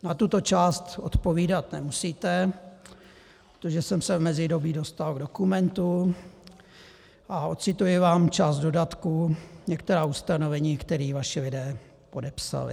Na tuto část odpovídat nemusíte, protože jsem se v mezidobí dostal k dokumentu a odcituji vám část dodatku, některá ustanovení, která vaši lidé podepsali :